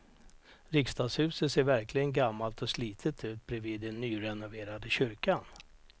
Riksdagshuset ser verkligen gammalt och slitet ut bredvid den nyrenoverade kyrkan.